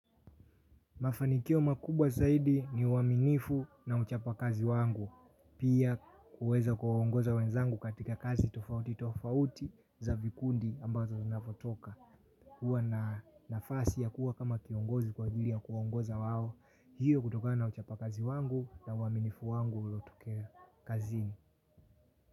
Mafanikio makubwa zaidi ni uwaminifu na uchapa kazi wangu. Pia kuweza kuwa ongoza wenzangu katika kazi tofauti tofauti za vikundi ambazo zinavyotoka. Kuwa na nafasi ya kuwa kama kiongozi kwa ajili ya kuwa ongoza wao. Hiyo kutokana uchapakazi wangu na uaminifu wangu ulo tukea kazini.